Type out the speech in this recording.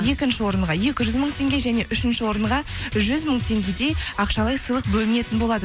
екінші орынға екі жүз мың теңге және үшінші орынға жүз мың теңгедей ақшалай сыйлық бөлінетін болады